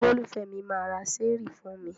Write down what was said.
Olólùfẹ́ mi máa ra ṣẹ́ẹ́rì fún mi.